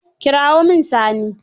Kirawo mjn Sani.